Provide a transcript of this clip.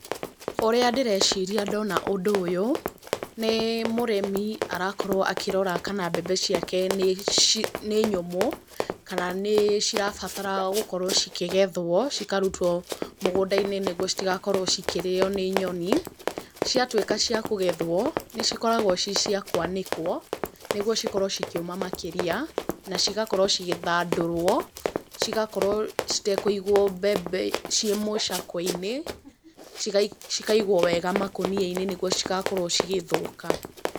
Ũrĩa ndĩreciria ndona ũndũ ũyũ, nĩ mũrĩmi arakorwo akĩrora kana mbembe ciake nĩ nyũmũ, kana nĩ cirabatara gukorwo cikĩgethwo, cikarutwo mũgũnda-inĩ nĩ guo citigakorwo cikĩrĩĩo nĩ nyoni, ciatuĩka cia kũgethwo, nĩ cikoragwo ci cia kũanĩkwo, nĩ guo cikorwo cikĩũma makĩrĩa na cigakorwo cigĩthandũrwo, cigakorwo citakuigwo mbembe ciĩ mũcakwe-inĩ, cikaigwo wega makũnia-inĩ nĩ guo citagakorwo cigĩthũka.